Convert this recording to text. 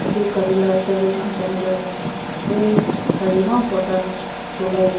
edu gari la service centre ase gari eman borta dhulaia.